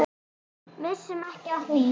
Missum ekki af því.